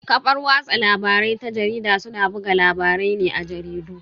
Kafar watsa labarai ta jarida suna buga labarai ne a jaridu.